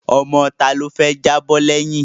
Ọmọ tá ni ó fẹ́ jábọ́ lẹ́yìn?